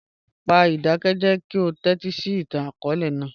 Pa idakẹjẹ ki o tẹtisi itan-akọọlẹ naa.